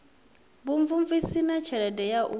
vhumvumvusi na tshelede ya u